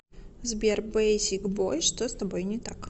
сбер бейсик бой что с тобой не так